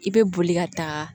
I bɛ boli ka taa